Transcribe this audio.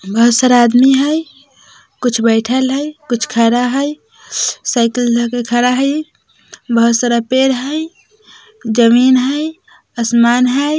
बहुत सारा आदमी हई कुछ बैठल हई कुछ खड़ा हई साइकिल धाके खड़ा हई बहुत सारा पेड़ हई ज़मीन हई असमान हई।